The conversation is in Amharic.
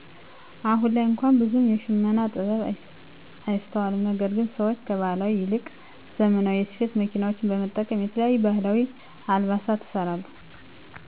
አሁን ላይ እንኳን ብዙም የሽመና ጥበብ አይስተዋልም ነገር ግን ሰዎች ከባህላዊ ይልቅ ዘመናዊ የስፌት መኪናዎችን በመጠቀም የተለያዩ ባህላዊ አልባሳትን ይሰራሉ።